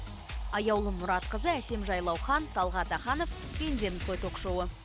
аяулым мұратқызы әсем жайлаухан талғат аханов пендеміз ғой ток шоуы